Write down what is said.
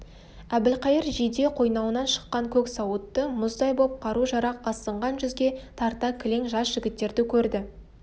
әбілқайыр жиде қойнауынан шыққан көк сауытты мұздай боп қару-жарақ асынған жүзге тарта кілең жас жігіттерді көрді